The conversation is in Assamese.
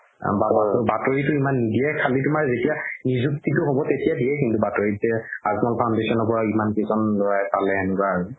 বাতৰিতও ইমান নিদিয়ে নিজুক্তিতো হ'ব তেতিয়া দিয়ে কিন্তু বাতৰিত যে আজমল foundation ৰ পৰা ইমান কেইজন ল'ৰাই পালে এনেকুৱা আৰু